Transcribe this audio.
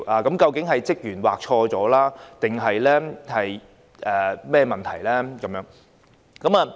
究竟是工作人員劃錯，還是有其他問題？